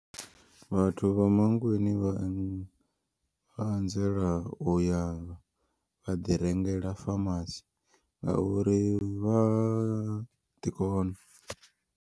Vhathu vha Mankweng vha anzela uya vha ḓi rengela pharmacy ngauri vha ḓi kona.